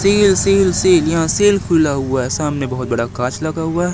cell sale sale यहाँ sale खुला हुआ हैं सामने बहोत बड़ा कांच लगा हुआ--